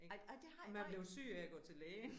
Ej ej det har nej